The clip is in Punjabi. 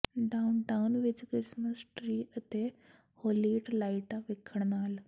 ਡਾਊਨਟਾਊਨ ਵਿੱਚ ਕ੍ਰਿਸਮਿਸ ਟ੍ਰੀ ਅਤੇ ਹੋਲੀਟ ਲਾਈਟਾਂ ਵਿੱਖਣ ਨਾਲ